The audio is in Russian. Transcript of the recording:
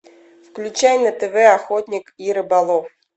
включай на тв охотник и рыболов